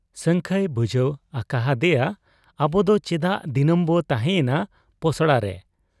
ᱥᱟᱹᱝᱠᱷᱟᱹᱭ ᱵᱩᱡᱷᱟᱹᱣ ᱟᱠᱟ ᱦᱟᱫᱮᱭᱟ ᱟᱵᱚᱫᱚ ᱪᱮᱫᱟᱜ ᱫᱤᱱᱟᱹᱢ ᱵᱚ ᱛᱟᱦᱭᱮᱸᱱᱟ ᱯᱚᱥᱲᱟᱨᱮ ?